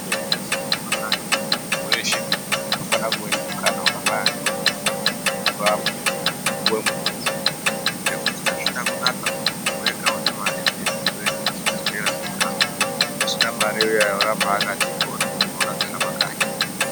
Mwese mwese mumakanyi umwo munhu weshe unofanire kuwe nemukana wakafanana neumweni wekurapwa kana kupuwe mutombo ngekuti azvina kunaka kuti muntu wega unemare ndiye unotoende kuchibhehleya eirapwa usina mare uyani oramba akati mhoryo akagara pakanyi.